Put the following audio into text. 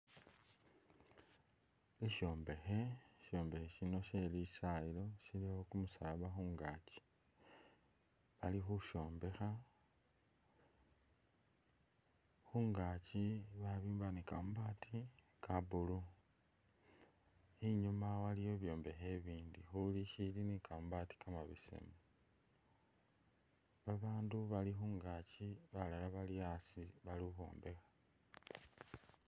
Sishombekhe, shishombekhe shino shelisayilo shilikho kumusaba khungaaki alikhushombekha, khungaaki babimba ni kamabaati ka'blue inyuma waliyo bibyombekhe bindi muli ni shili ni'kamabaati kamabesemu babandu balikhungaki balala bali asii balikhwombekha